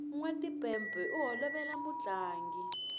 nwa timpepe u holovela mutlangi